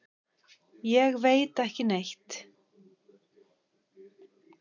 Ég veit ekki neitt.